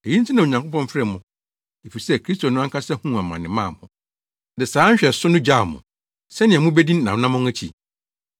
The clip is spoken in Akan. Eyi nti na Onyankopɔn frɛɛ mo, efisɛ Kristo no ankasa huu amane maa mo, de saa nhwɛso no gyaw mo, sɛnea mubedi nʼanammɔn akyi.